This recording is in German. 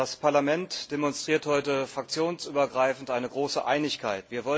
Das Parlament demonstriert heute fraktionsübergreifend eine große Einigkeit.